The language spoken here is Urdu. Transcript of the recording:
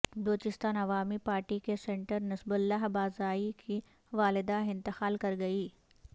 بلوچستان عوامی پارٹی کے سینٹر نصیب اللہ بازائی کی والدہ انتقال کر گئی